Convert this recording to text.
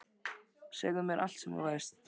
Segðu mér allt sem þú veist.